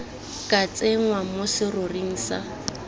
ka tsenngwa mo seroring sa